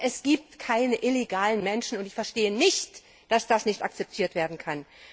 Aber es gibt keine illegalen Menschen! Ich verstehe nicht, dass das nicht akzeptiert werden kann.